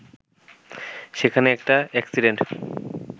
সেখানে একটা অ্যাকসিডেন্টে